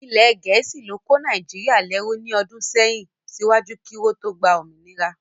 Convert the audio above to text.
Ilẹ̀ gẹ̀ẹ́sì ló kó ilẹ̀ Nàìjíríà lẹ́rú ní ọdún sẹ́yìn síwájú kí wọ́n tó gba òmìnira